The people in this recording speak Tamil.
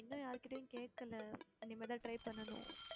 இன்னும் யார்கிட்டயும் கேக்கல இனிமே தான் try பண்ணணும்